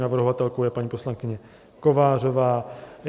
Navrhovatelkou je paní poslankyně Kovářová.